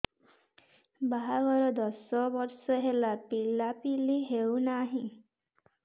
ବାହାଘର ଦଶ ବର୍ଷ ହେଲା ପିଲାପିଲି ହଉନାହି